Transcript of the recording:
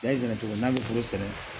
N y'a ɲinin cogo min n'a bɛ foro sɛnɛ